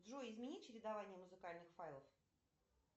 джой измени чередование музыкальных файлов